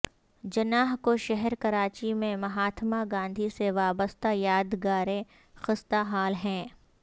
جناح کے شہر کراچی میں مہاتما گاندھی سے وابستہ یادگاریں خستہ حال ہیں